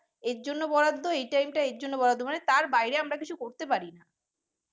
এর জন্য বরাদ্দ এই time টা এর জন্য বরাদ্দ মানে তার বাইরে আমরা কিছু করতে পারি ।